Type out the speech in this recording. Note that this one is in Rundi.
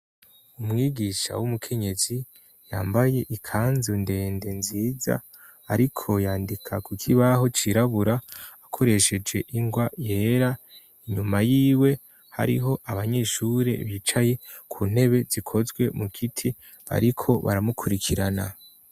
Umwigisha w'umukenyezi, yambaye ikanzu ndende nziza, ariko yandika ku kibaho cirabura, akoresheje ingwa yera; inyuma yiwe hariho abanyeshure bicaye ku ntebe zikozwe mu giti, bariko baramukurikirana.